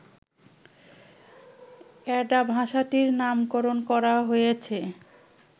Ada ভাষাটির নামকরণ করা হয়েছে